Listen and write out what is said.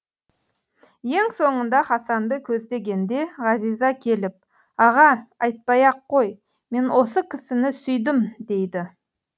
ең соңында хасанды көздегенде ғазиза келіп аға атпай ақ қой мен осы кісіні сүйдім дейді